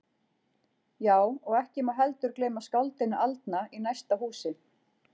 Já, og ekki má heldur gleyma skáldinu aldna í næsta húsi.